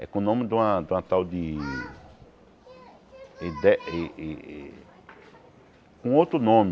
É com o nome de uma de uma tal de ide i i i... Com outro nome.